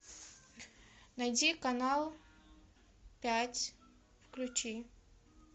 найди канал пять включи